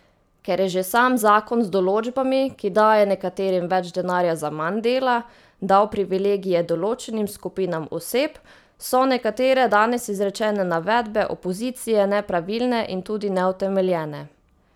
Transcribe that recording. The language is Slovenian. Ker je že sam zakon z določbami, ki daje nekaterim več denarja za manj dela, dal privilegije določenim skupinam oseb, so nekatere danes izrečene navedbe opozicije nepravilne in tudi neutemeljene.